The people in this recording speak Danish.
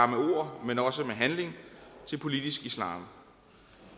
med ord men også med handling til politisk islam